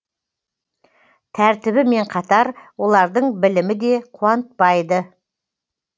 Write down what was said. тәртібімен қатар олардың білімі де қуантпайды